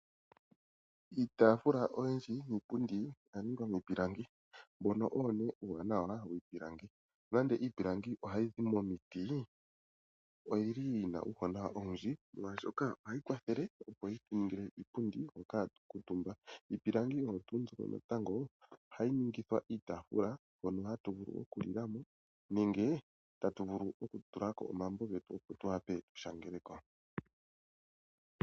Iitafula oyindji niipundi oya ningwa miipilangi tolanda miipilangi momiti oyili yina uuwanawa owundji molwaashoka ohayi kwathele opo yituningile iipundi mbyoka hatu kuutumba iipilangi oyo tuu mbika natango ningithwa iitaafula mbyono hatu nenge tatu vulu okutulapo tuwape okushangelako.